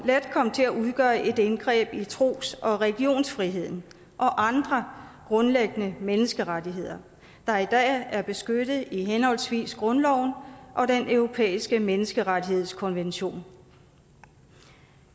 let komme til at udgøre et indgreb i tros og religionsfriheden og andre grundlæggende menneskerettigheder der i dag er beskyttet i henholdsvis grundloven og den europæiske menneskerettighedskonvention